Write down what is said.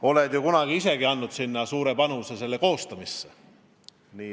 Oled ju kunagi ise andnud suure panuse selle koostamisse.